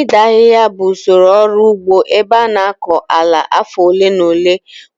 Ịda ahịhịa bụ usoro ọrụ ugbo ebe a na-akọ ala afọ ole na ole